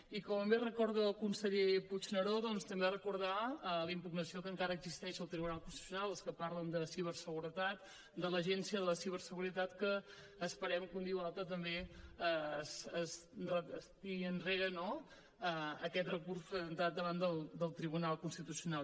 i com bé recorda el conseller puigneró doncs també recordar la impugnació que encara existeix al tribunal constitucional per als que parlen de ciberseguretat de l’agència de ciberseguretat que esperem que un dia o altre també es tiri enrere no aquest recurs presentat davant del tribunal constitucional